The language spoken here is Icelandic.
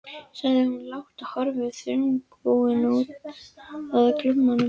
sagði hún lágt og horfði þungbúin út að glugganum.